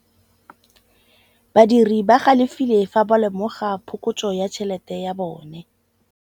Badiri ba galefile fa ba lemoga phokotsô ya tšhelête ya bone.